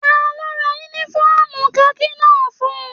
Taló rán yúnífọ̀ọ́mù kaki náà fún ùn?